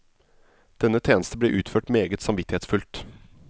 Denne tjeneste ble utført meget samvittighetsfullt.